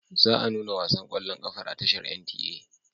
Za a nuna wasan ƙwallon ƙafar a tashar NTA.